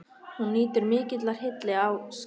Hún nýtur mikillar hylli á Skaganum.